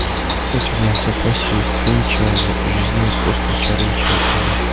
у тебя в запасе есть фильм чарли жизнь и искусство чарли чаплина